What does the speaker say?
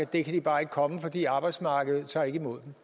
det kan de bare ikke komme fordi arbejdsmarkedet ikke tager imod